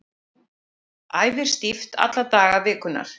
Æfir stíft alla daga vikunnar